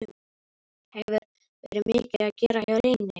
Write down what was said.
Hefur verið mikið að gera hjá Reyni?